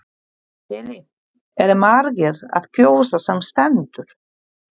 Lillý, eru margir að kjósa sem stendur?